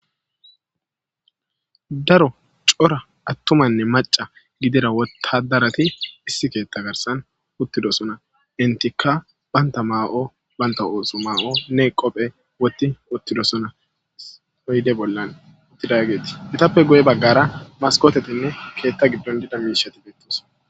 Daro cora aththumanne macca gidida wottaaddarati issi keeththaa garssan uththidosona;henththikka banththa maa7o banththa ooso maa7o ne qophe wothiuththidosona oyde bollan uththidaageeti;ethappe guye baggara maskkootheththinne keeththa giddon diya miishshati beeththoosona.